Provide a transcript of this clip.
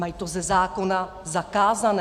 Mají to ze zákona zakázáno.